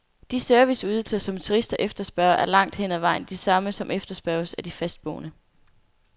De serviceydelser, som turister efterspørger, er langt hen ad vejen de samme, som efterspørges af de fastboende.